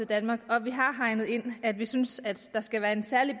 danmark og vi har hegnet ind at vi synes der skal være en særlig